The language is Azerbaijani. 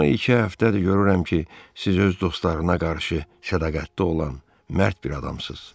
Amma iki həftədir görürəm ki, siz öz dostlarına qarşı sədaqətli olan, mərd bir adamsız.